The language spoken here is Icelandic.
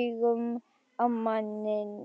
augum á manninn.